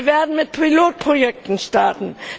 Wir werden mit Pilotprojekten starten.